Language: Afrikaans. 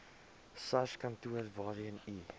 sarskantoor waarheen u